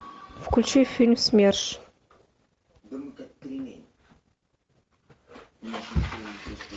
включи фильм смерш